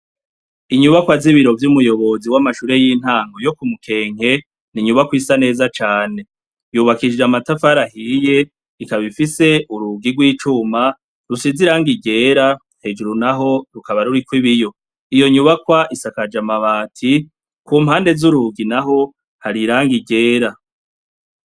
Inyubakwa z'ibiro vy'umuyobozi w'amashure y'intango yo ku Mukenke, ni nyubakwa isa neza cane. Yubakije amatafari ahiye, ikaba ifise urugi rw'icuma rusize irangi ryera hejuru naho rukaba ruriko ibiyo. Iyo nyubakwa isakaje amabati ku mpande z'urugi naho hari irangi ryera.